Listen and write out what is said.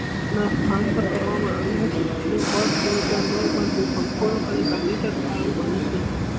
એના સ્થાન મા કરવામાં આવ્યું હતું અને બે હજાર નૌ મા તો સંપૂર્ણ કાર્ય કર એ આ બને છે